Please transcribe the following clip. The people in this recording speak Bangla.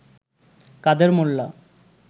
কাদের মোল্লা